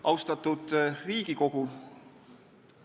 Austatud Riigikogu!